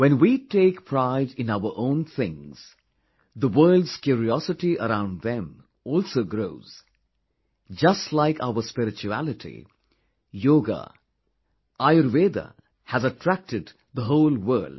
When we take pride in our own things, the world's curiosity around them also grows Just like our spirituality, Yoga, Ayurveda has attracted the whole world